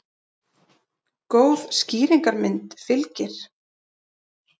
Góð skýringarmynd fylgir.